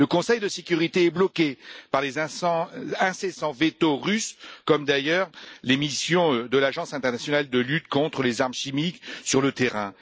Le Conseil de sécurité est bloqué par les incessants vetos russes, comme d'ailleurs les missions de l'Agence internationale de lutte contre les armes chimiques sur le terrain.